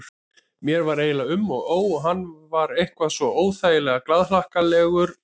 Mér var eiginlega um og ó, hann var eitthvað svo óþægilega glaðhlakkalegur á svipinn.